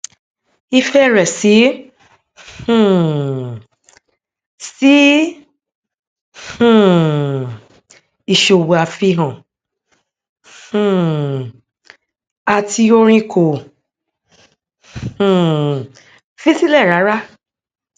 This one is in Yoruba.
ìfẹ rẹ sí um sí um ìṣòwò àfihàn um àti orin kò um fi sílẹ rárá